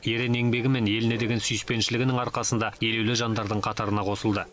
ерен еңбегі мен еліне деген сүйіспеншілігінің арқасында елеулі жандардың қатарына қосылды